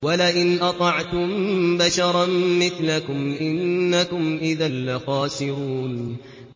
وَلَئِنْ أَطَعْتُم بَشَرًا مِّثْلَكُمْ إِنَّكُمْ إِذًا لَّخَاسِرُونَ